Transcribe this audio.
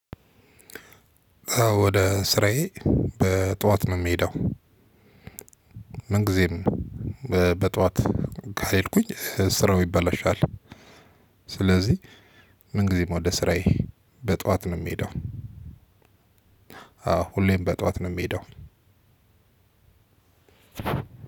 ወደ ስራዬ በጥዋት ነው የምሄደው፤ ምንጊዜም በጥዋት ካልሄድኩኝ ስራው ይበላሻል። ስለዚህ ምን ጊዜም ወደ ስራዬ በጧት ነው የምሄደው አዎ ሁሌም በጧት ነው የምሄደው